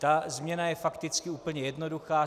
Ta změna je fakticky úplně jednoduchá.